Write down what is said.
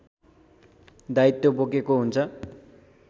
दायित्व बोकेको हुन्छ